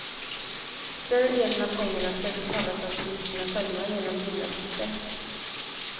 Större delen av pengarna skall betalas av bilisterna själva genom bilavgifter.